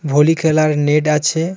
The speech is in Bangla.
ভলি খেলার নেড আছে.